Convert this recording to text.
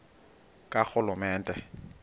karhulumente